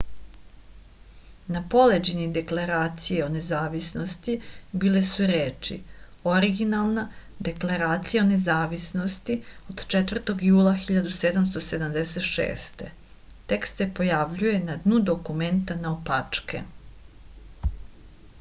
na poleđini deklaracije o nezavisnosti bile su reči originalna deklaracija o nezavisnosti od 4. jula 1776 tekst se pojavljuje na dnu dokumenta naopačke